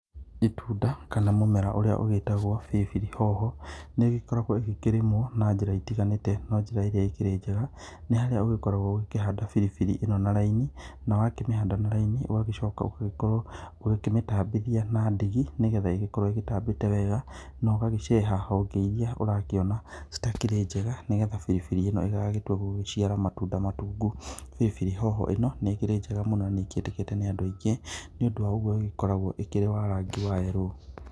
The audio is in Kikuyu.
Itunda kana mũmera ũrĩa ũgĩĩtagwo biribiri hoho, nĩ ũgĩkoragwo ũgĩkĩrĩmwa na njĩra itiganĩte, na njĩra ĩrĩa ĩkĩrĩ njega, nĩ harĩa ũgĩkoragwo ũgĩkĩhanda biribiri ĩno na raini, na wakĩmĩhanda na raini, ũgagĩcoka ũgagĩkorwo ũgĩkĩmĩtambithia na ndigi, nĩ getha ĩgĩkorwo ĩtambĩte wega, na ũgagĩceha honge iria ũrakĩona citakĩrĩ njega, nĩ getha biribiri ĩno ĩgagĩtua gũgĩciara matunda matungu. Biribiri hoho ĩno, nĩ ĩkĩrĩ njega mũno nĩ ĩkĩendekete nĩ andũ aingĩ nĩ ũndũ wa ũguo ĩgĩkoragwo ĩkĩrĩ wa rangi wa yellow.